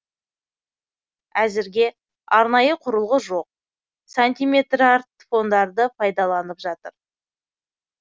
әзірге арнайы құрылғы жоқ сантиметрартфондарды пайдаланып жатыр